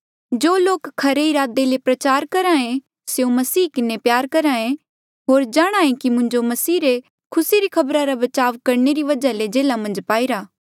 जो लोक खरी इरादे ले प्रचार करहे स्यों मसीह किन्हें प्यार करहे होर जाणहां ऐें कि मुंजो मसीह रे खुसी री खबरा रा बचाव करणे री वजहा ले जेल्हा मन्झ पाईरा